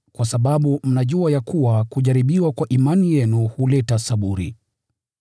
kwa sababu mnajua ya kuwa kujaribiwa kwa imani yenu huleta saburi.